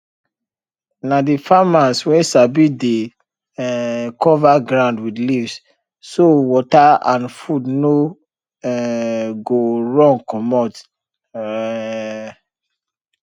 na the farmers wey sabi dey um cover ground with leaves so water and food no um go run commot um